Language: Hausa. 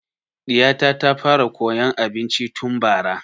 Ɗiya ta ta fara koyan abinci tun bara